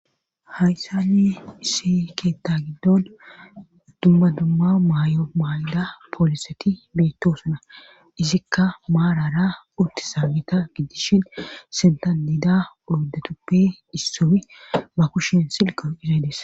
hayssani isi keetta giddon dumma dumma maay7o maayida pooliseti beettosuna izikka maarara utti saamita giddishin sentanida ordetuppe issufi ma kushin silqo izaydes